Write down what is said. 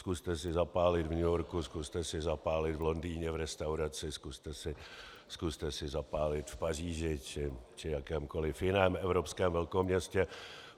Zkuste si zapálit v New Yorku, zkuste si zapálit v Londýně v restauraci, zkuste si zapálit v Paříži či jakémkoli jiném evropském velkoměstě.